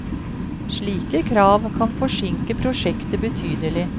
Slike krav kan forsinke prosjektet betydelig.